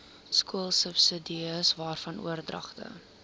skoolsubsidies waarvan oordragte